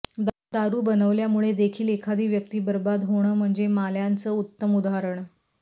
दारू बनवल्यामुळे देखील एखादी व्यक्ती बर्बाद होणं म्हणजे माल्याचं उत्तम उदाहरण